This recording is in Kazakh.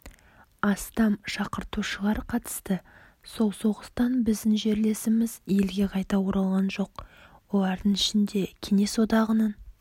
астам шақыртушылар қатысты сол соғыстан біздің жерлесіміз елге қайта оралған жоқ олардың ішінде кеңес одағының